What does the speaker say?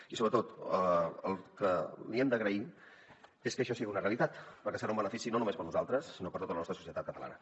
i sobretot el que li hem d’agrair és que això sigui una realitat perquè serà un benefici no només per a nosaltres sinó per a tota la nostra societat catalana